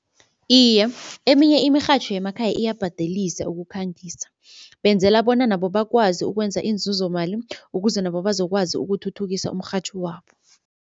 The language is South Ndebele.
Iye, eminye imirhatjho yemakhaya iyabhadelise ukukhangisa. Benzela bona nabo bakwazi ukwenza inzuzomali ukuze nabo bazokwazi ukuthuthukisa umrhatjho wabo.